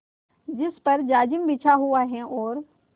जिस पर जाजिम बिछा हुआ है और